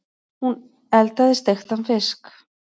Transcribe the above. Hún eldaði steiktan fisk.